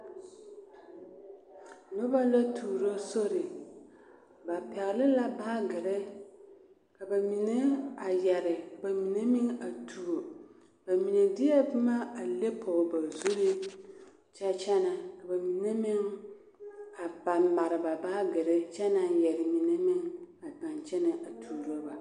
Noba la tuuro sori ba pɛɡele la baaɡere ka ba mine a yɛre ka ba mine meŋ a tuo ba mine deɛ boma a leŋ pɔɡe ba zuri kyɛ kyɛnɛ ka ba mine meŋ a mare mare ba baaɡere kyɛ naŋ yɛre mine meŋ a pãã kyɛnɛ tuuro ba.